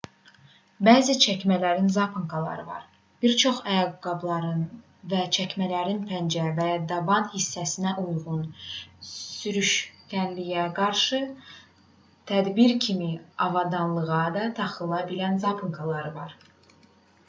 bəzi çəkmələrin zaponkaları var bir çox ayaqqabıların və çəkmələrin pəncə və ya daban hissələrinə uyğun sürüşkənliyə qarşı tədbir kimi avadanlığa da taxıla bilən zaponkalar var